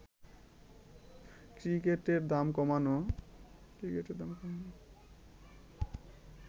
টিকিটের দাম কমানো